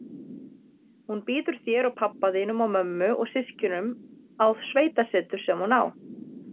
Hún býður þér og pabba þínum og mömmu og systkinunum á sveitasetur sem hún á.